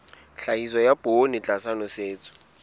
tlhahiso ya poone tlasa nosetso